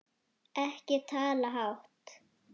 Ekki tala hátt!